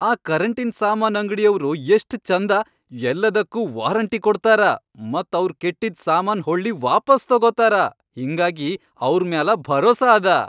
ಆ ಕರೆಂಟಿನ್ ಸಾಮಾನ್ ಅಂಗ್ಡಿಯವ್ರು ಯಷ್ಟ್ ಛಂದ ಯಲ್ಲಾದಕ್ಕೂ ವಾರಂಟಿ ಕೊಡ್ತಾರ ಮತ್ ಅವ್ರ್ ಕೆಟ್ಟಿದ್ ಸಾಮಾನ್ ಹೊಳ್ಳಿ ವಾಪಾಸ್ ತೊಗೊತಾರ ಹಿಂಗಾಗಿ ಅವ್ರ್ ಮ್ಯಾಲ ಭರೋಸಾ ಅದ.